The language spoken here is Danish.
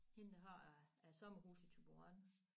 Hende der har æ sommerhus i Thyborøn